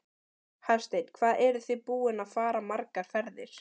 Hafsteinn: Hvað eruð þið búin að fara margar ferðir?